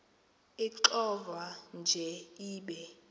ixovwa nje ibe